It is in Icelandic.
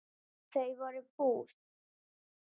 Þau voru bús.